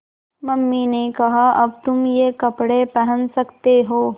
mummy ने कहा अब तुम ये कपड़े पहन सकते हो